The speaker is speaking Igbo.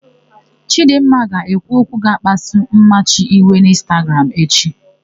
Chidịmma ga-ekwu okwu ga-akpasu Mmachi iwe n'ịnstagram echi.